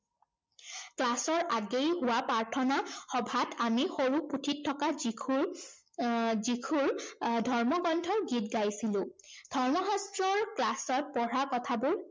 class ৰ আগেয়ে হোৱা প্ৰাৰ্থনা সভাত আমি সৰু পুথিত থকা যীশুৰ আহ যীচুৰ আহ ধৰ্মগ্ৰন্থৰ গীত গাইছিলো। ধৰ্ম শাস্ত্ৰৰ class ত পঢ়া কথাবোৰ